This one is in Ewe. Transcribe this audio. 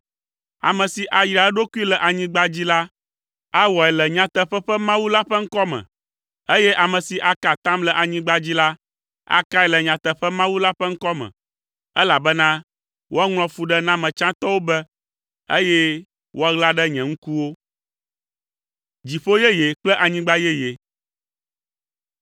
Ame si ayra eɖokui le anyigba dzi la awɔe le nyateƒe ƒe Mawu la ƒe ŋkɔ me, eye ame si aka atam le anyigba dzi la, akae le nyateƒe Mawu la ƒe ŋkɔ me, elabena woaŋlɔ fuɖename tsãtɔwo be, eye woaɣla ɖe nye ŋkuwo.